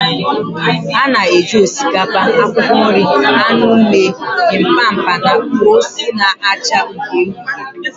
A na-eji osikapa, akwụkwọ nri, anụ mee Bibimpap na ose na-acha uhie uhie